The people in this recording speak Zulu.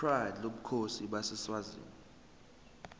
pride lobukhosi baseswazini